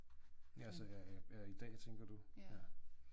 Ja så her i ja i dag tænker du ja